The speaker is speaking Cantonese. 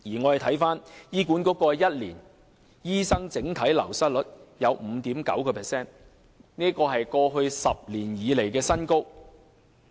過去1年醫管局的醫生整體流失率有 5.9%， 是過去10年來的新高。